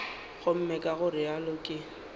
gomme ka go realo ke